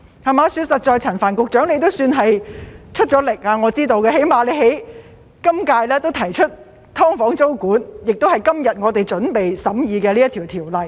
實在的說，我知道陳帆局長也算出力，他起碼在今屆提出了"劏房"租管，就是今天我們準備審議的《條例草案》。